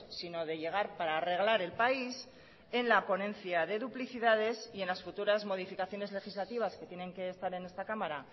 sino de llegar para arreglar el país en la ponencia de duplicidades y en las futuras modificaciones legislativas que tienen que estar en esta cámara